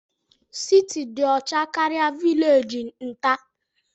Siti dị ọcha karịa vilegi nta.